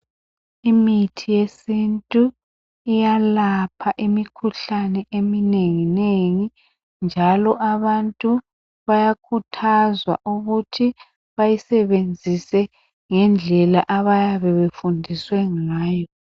Imithi yesintu iyalapha imikhuhlane eminenginengi njalo abantu bayakhuthazwa ukuthi bayisebenzise ngendlela abayabe befundiswe ngayo.